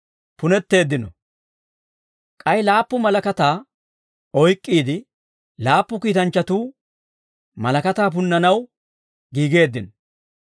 K'ay laappu malakataa oyk'k'iide laappu kiitanchchatuu malakataa punnanaw giigeeddino.